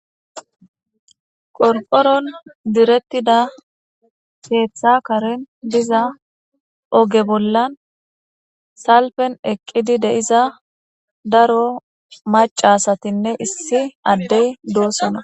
Qorqoron direttida keththa karen diza oge bollan salfen eqidi de'iza daro maca asstin issi adey dosona